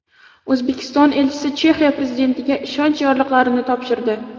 O‘zbekiston elchisi Chexiya prezidentiga ishonch yorliqlarini topshirdi.